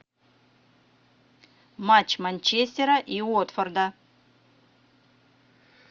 матч манчестера и уотфорда